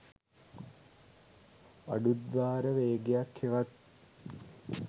අඩු ද්වාර වේගයක් හෙවත්